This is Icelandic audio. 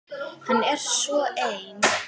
Hann er svo ein